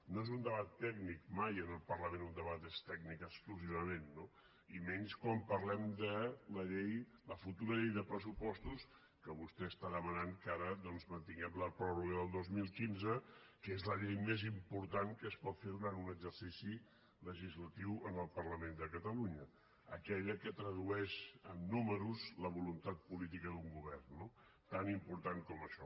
no és un debat tècnic mai en el parlament un debat és tècnic exclusivament no i menys quan parlem de la futura llei de pressupostos que vostè està demanant que ara doncs mantinguem la pròrroga del dos mil quinze que és la llei més important que es pot fer durant un exercici legislatiu en el parlament de catalunya aquella que tradueix en números la voluntat política d’un govern no tan important com això